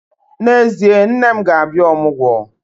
N'ezie, nne m ga-abịa ọmụgwọ